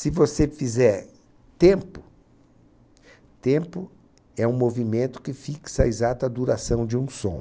Se você fizer tempo, tempo é um movimento que fixa a exata duração de um som.